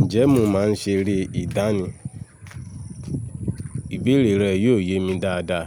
Ǹjẹ́ mọ máa ń ṣeré ìdánì? Ìbéèrè rẹ yiọ yé mi dáadáa.